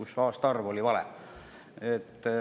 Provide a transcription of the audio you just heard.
Seal oli aastaarv vale.